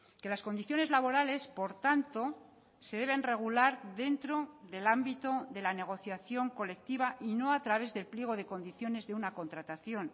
que las condiciones laborales por tanto se deben regular dentro del ámbito de la negociación colectiva y no a través del pliego de condiciones de una contratación